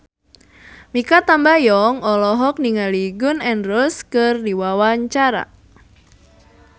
Mikha Tambayong olohok ningali Gun N Roses keur diwawancara